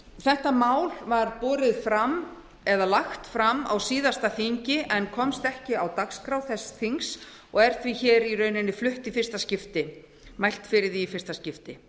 þetta mál var lagt fram á síðasta þingi en komst ekki á dagskrá þess þings og er því hér í rauninni mælt fyrir í fyrsta skipti